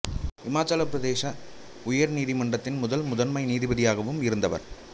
இமாச்சல பிரதேச உயர்நீதி மன்றத்தின் முதல் முதன்மை நீதிபதியாகவும் இருந்தவர்